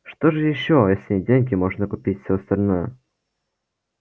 что же ещё если деньги можно купить всё остальное